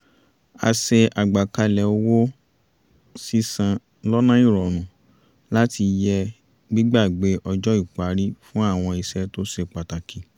a ṣe àgbékalẹ̀ owó-sísan lọ́nà ìrọ̀rùn láti yẹ gbígbàgbé ọjọ́ ìparí fún àwọn iṣẹ́ tó ṣe pàtàkì